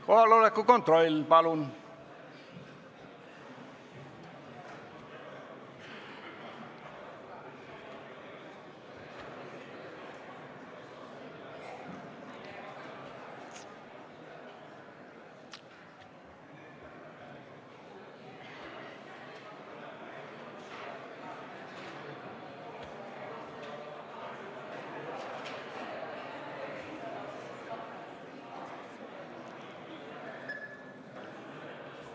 Kohaloleku kontroll, palun!